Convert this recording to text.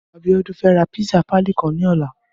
Abiola fè rà pàlí pizza kàn lòlá